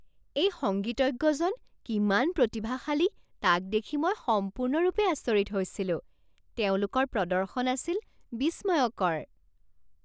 এই সংগীতজ্ঞজন কিমান প্ৰতিভাশালী তাক দেখি মই সম্পূৰ্ণৰূপে আচৰিত হৈছিলো। তেওঁলোকৰ প্ৰদৰ্শন আছিল বিস্ময়কৰ